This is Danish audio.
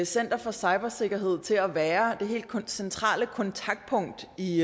center for cybersikkerhed og til at være det helt centrale kontaktpunkt i